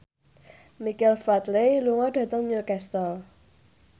Michael Flatley lunga dhateng Newcastle